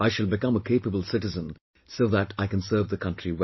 I shall become a capable citizen so that I can serve the country well